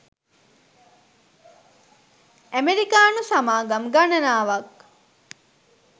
අමෙරිකානු සමාගම් ගණනාවක්